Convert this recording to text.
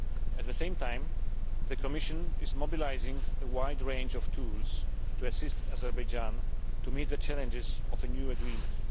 At the same time, the Commission is mobilising a wide range of tools to assist Azerbaijan to meet the challenges of a new agreement.